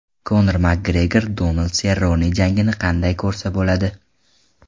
Konor Makgregor Donald Serrone jangini qanday ko‘rsa bo‘ladi?.